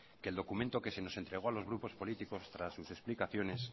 que el documento que se nos entregó a los grupos políticos tras sus explicaciones